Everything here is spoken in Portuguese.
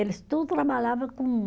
Eles tudo trabalhava com